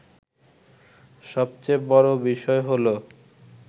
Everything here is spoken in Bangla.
সবচেয়ে বড় বিষয় হলো